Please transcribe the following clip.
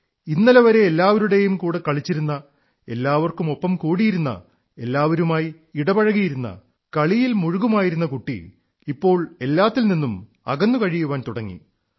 ഇന്നലെ വരെ എല്ലാവരുടെയും കൂടെ കളിച്ചിരുന്ന എല്ലാവർക്കുമൊപ്പം കൂടിയിരുന്ന എല്ലാവരുമായി ഇടപഴകിയിരുന്ന കളിയിൽ മുഴുകുമായിരുന്ന കുട്ടി ഇപ്പോൾ എല്ലാത്തിൽ നിന്നും അകന്നു കഴിയാൻ തുടങ്ങി